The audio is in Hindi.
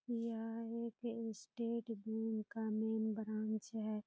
यह एक स्टेट बेंक का मेन ब्रांच है।